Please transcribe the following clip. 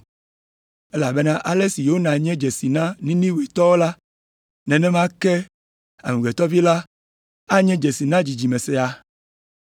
Elabena ale si Yona nye dzesi na Ninivetɔwoe la, nenema ke Amegbetɔ Vi la anye dzesi na dzidzime siae.